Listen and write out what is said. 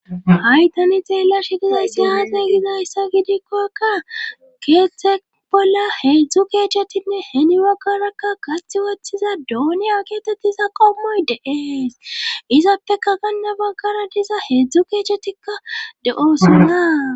hay tani xeella shigizayssi ate gizayssa gidikkoaka keeththe bolla heedzdzu keechchetinne heni baggarakka gathi woththiza duoniya keetetiza qommoy deeees izappeka ganna baggara diza heedzdzu keechetikka de7oosonna